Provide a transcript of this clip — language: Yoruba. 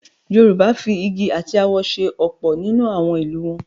Yorùbá fi igi àti awọ se ọ̀pọ̀ nínú àwọn ìlù wọn.